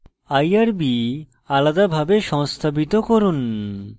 irb আলাদাভাবে সংস্থাপিত করুন